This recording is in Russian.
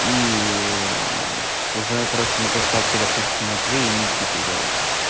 ии уже короче на приставке допустим матвей и никита играть